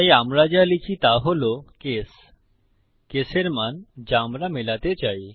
তাই আমরা যা লিখি তা হল কেস কেসের মান যা আমরা মেলাতে চাই